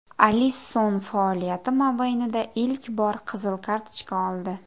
Alisson faoliyati mobaynida ilk bor qizil kartochka oldi.